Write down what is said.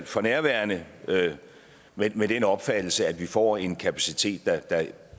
for nærværende med den opfattelse at vi får en kapacitet